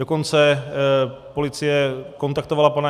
Dokonce policie kontaktovala pana